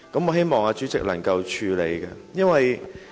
我希望主席能夠處理此事。